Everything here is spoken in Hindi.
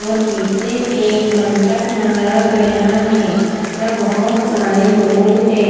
और पीछे एक मंडप मारा गया है जहाँ बहुत सारे लोग है।